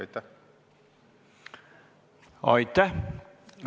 Aitäh!